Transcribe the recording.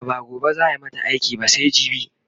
a'a ba gobe zaa mata iki ba sai jibi